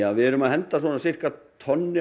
við erum að henda svona sirka tonni